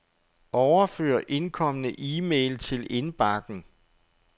Overfør indkomne e-mail til indbakken.